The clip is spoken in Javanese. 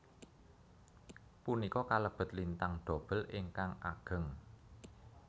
Punika kalebet lintang dobel ingkang ageng